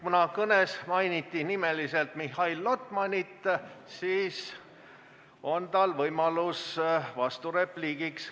Kuna kõnes mainiti nimeliselt Mihhail Lotmanit, siis on tal võimalus vasturepliigiks.